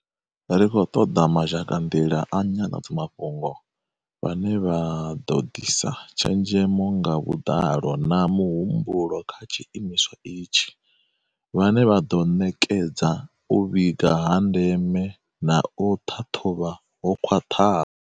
Ri khou ṱoḓa mazhakanḓila a nyanḓadzamafhungo, vhane vha ḓo ḓisa tshenzhemo nga vhuḓalo na muhumbulo kha tshiimiswa itshi, vhane vha ḓo ṋekedza u vhiga ha ndeme na u ṱhaṱhuvha ho khwaṱhaho.